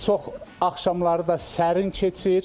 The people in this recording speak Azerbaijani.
Çox axşamları da sərin keçir.